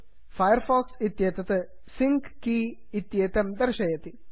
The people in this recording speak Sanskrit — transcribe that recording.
फैर् फाक्स् इत्येतत् सिंक केय सिङ्क् की इत्येतं दर्शयति